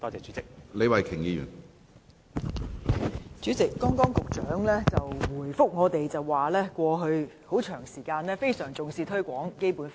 主席，副局長剛才回答我們說，在過去一段很長時間，當局也非常重視推廣《基本法》。